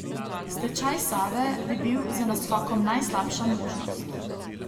Stečaj Save bi bil z naskokom najslabša možnost.